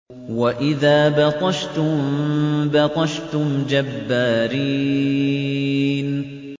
وَإِذَا بَطَشْتُم بَطَشْتُمْ جَبَّارِينَ